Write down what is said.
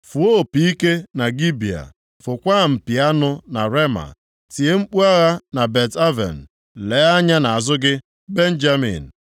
“Fụọ opi ike na Gibea, fụkwaa mpi anụ na Rema. Tie mkpu agha na Bet-Aven. Lee anya nʼazụ gị, Benjamin.